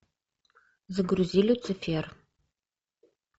загрузи люцифер